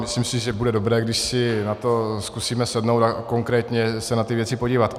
Myslím si, že bude dobré, když si na to zkusíme sednout a konkrétně se na ty věci podívat.